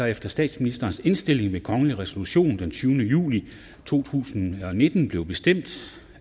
efter statsministerens indstilling ved kongelige resolutioner den tyvende juli to tusind og nitten blev bestemt